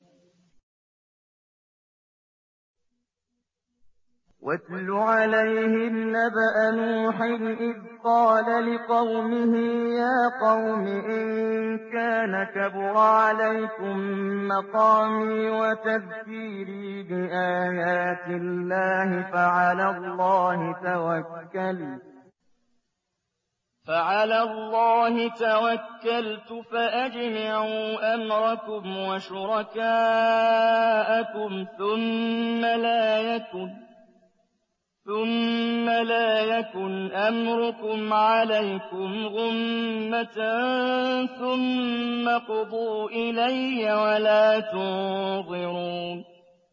۞ وَاتْلُ عَلَيْهِمْ نَبَأَ نُوحٍ إِذْ قَالَ لِقَوْمِهِ يَا قَوْمِ إِن كَانَ كَبُرَ عَلَيْكُم مَّقَامِي وَتَذْكِيرِي بِآيَاتِ اللَّهِ فَعَلَى اللَّهِ تَوَكَّلْتُ فَأَجْمِعُوا أَمْرَكُمْ وَشُرَكَاءَكُمْ ثُمَّ لَا يَكُنْ أَمْرُكُمْ عَلَيْكُمْ غُمَّةً ثُمَّ اقْضُوا إِلَيَّ وَلَا تُنظِرُونِ